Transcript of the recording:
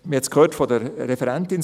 Wir hörten es von der Referentin: